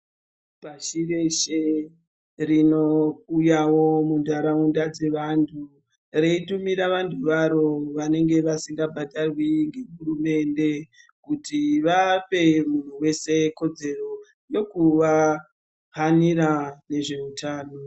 Pashi reshe rinouyawo muntaraunda dzevantu reitumira vantu varo vanenge vasingabhadharwi ngehurumende kuti vape munhu wese kodzero yekuvahanira vezveutano.